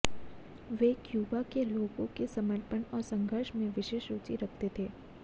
वे Cuba के लोगों के समर्पण और संघर्ष में विशेष रुचि रखते थे